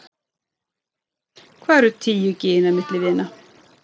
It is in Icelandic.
Hvað eru tíu gin milli vina.